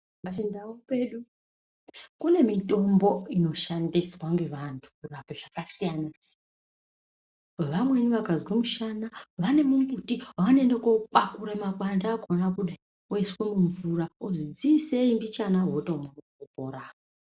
Pachindau pedu kune mitombo inoshandiswa ngevanthu kurape zvakasiyana siyana vamweni vakazwa mishana vane mimbiti wavanoende kokwaakura makwande akona oiswa mumvura ozwi dziisei mbijana votomwa votopora.